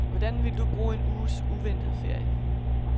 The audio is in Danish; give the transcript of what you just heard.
Hvordan ville du bruge en uges uventet ferie.